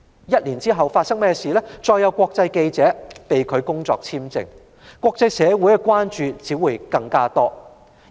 一年後，再有國際記者被拒發工作簽證，國際社會只會更為關注。